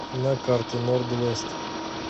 на карте норд вест